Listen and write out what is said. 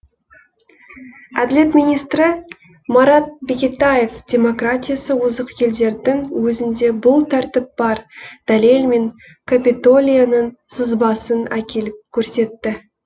әділет министрі марат бекетаев демократиясы озық елдердің өзінде бұл тәртіп бар дәлелмен капитолияның сызбасын әкеліп көрсетті